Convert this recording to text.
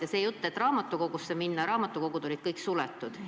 Ja see jutt, et raamatukogusse minna – kõik raamatukogud olid ju suletud.